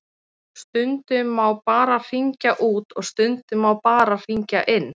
Stundum má bara hringja út og stundum má bara hringja inn.